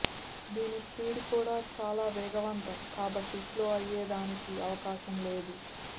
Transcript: దీని స్పీడ్ కూడా చాలా వేగవంతం కాబట్టి స్లో అయ్యేదానికి అవకాశం లేదు